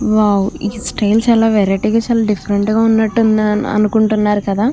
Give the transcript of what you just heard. Wow ఈ style చాలా variety గా చాలా డిఫరెంట్ గా ఉన్నట్టు అనుకుంటున్నారు కదా.